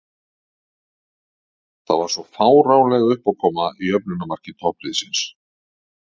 Það var svo fáránleg uppákoma í jöfnunarmarki toppliðsins.